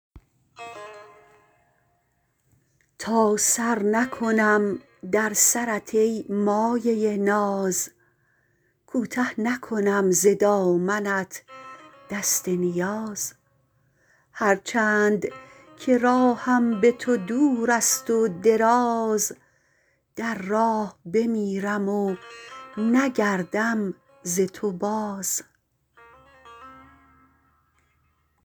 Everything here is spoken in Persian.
تا سر نکنم در سرت ای مایه ناز کوته نکنم ز دامنت دست نیاز هر چند که راهم به تو دورست و دراز در راه بمیرم و نگردم ز تو باز